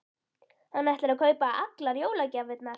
Hann ætlar að kaupa allar jólagjafirnar.